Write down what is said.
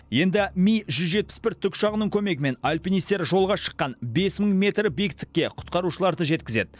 енді ми жүз жетпіс бір тікұшағының көмегімен альпинистер жолға шыққан бес мың метр биіктікке құтқарушыларды жеткізеді